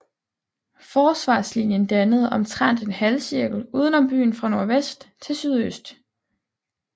Forsvarslinjen dannede omtrent en halvcirkel uden om byen fra nordvest til sydøst